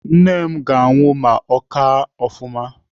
Nne m ga-anwụ ma ọ kaa ofụma.